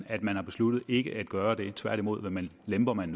at man har besluttet ikke at gøre det tværtimod lemper man